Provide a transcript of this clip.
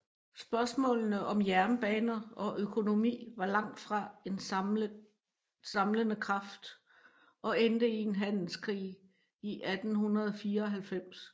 Spørgsmålene om jernbaner og økonomi var langtfra en samlende kraft og endte i en handelskrig i 1894